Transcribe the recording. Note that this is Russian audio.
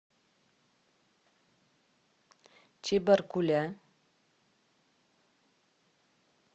чебаркуля